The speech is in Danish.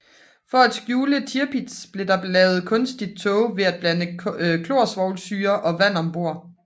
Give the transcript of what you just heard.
For at skjule Tirpitz blev der lavet kunstig tåge ved at blande klorsvovlsyre og vand om bord